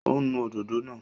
Ó ń nu òdòdó náà